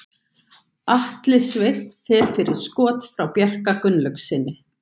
Atli Sveinn fer fyrir skot frá Bjarka Gunnlaugssyni.